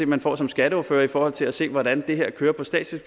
man får som skatteordfører i forhold til at se hvordan det her kører på statsligt